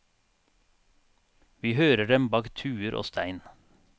Vi hører dem bak tuer og stein.